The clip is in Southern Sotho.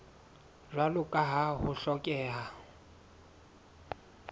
jwalo ka ha ho hlokeha